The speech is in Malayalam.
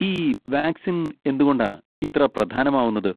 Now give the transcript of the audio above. ഈ വാക്സിൻ എന്തുകൊണ്ടാ ഇത്ര പ്രധാനമാവുന്നത്?